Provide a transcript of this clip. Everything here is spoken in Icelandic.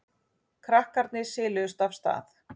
Krakkarnir siluðust af stað.